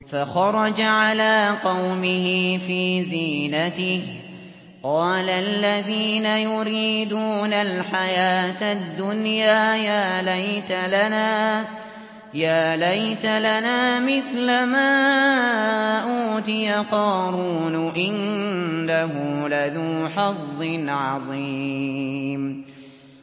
فَخَرَجَ عَلَىٰ قَوْمِهِ فِي زِينَتِهِ ۖ قَالَ الَّذِينَ يُرِيدُونَ الْحَيَاةَ الدُّنْيَا يَا لَيْتَ لَنَا مِثْلَ مَا أُوتِيَ قَارُونُ إِنَّهُ لَذُو حَظٍّ عَظِيمٍ